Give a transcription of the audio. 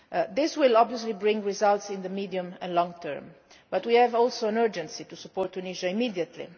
This will obviously bring results in the medium and long term, but we also have an urgent need to support Tunisia immediately.